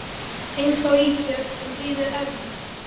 Eins og ísbjörn sem hlýðir eðlis